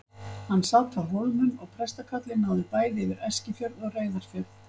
Hann sat á Hólmum og prestakallið náði bæði yfir Eskifjörð og Reyðarfjörð.